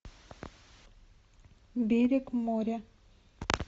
берег моря